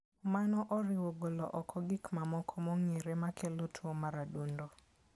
Mano oriwo golo oko gik mamoko mong'ere makelo tuwo mar adundo.